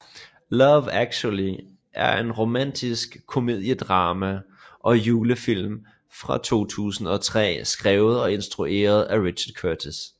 Love Actually er et romantisk komediedrama og julefilm fra 2003 skrevet og instrueret af Richard Curtis